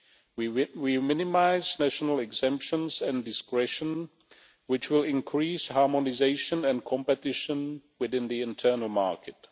We minimise national exemptions and discretion, which will increase harmonisation and competition within the internal market.